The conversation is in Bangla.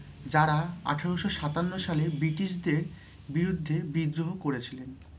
যারা আঠেরোশো সাতান্ন সালে British দের বিরুদ্ধে বিদ্রোহ করেছিলেন।